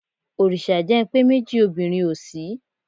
Òrìṣà jẹ́ ń pé méjì obìnrin ò sí.